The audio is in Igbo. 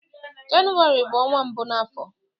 Jenụwarị bụ ọnwa mbụ na afo